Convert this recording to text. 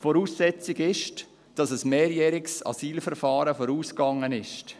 Voraussetzung ist, dass ein mehrjähriges Asylverfahren vorausgegangen ist.